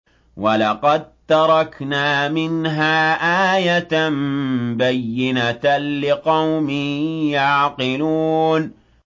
وَلَقَد تَّرَكْنَا مِنْهَا آيَةً بَيِّنَةً لِّقَوْمٍ يَعْقِلُونَ